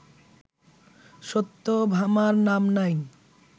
সত্যভামার নাম নাই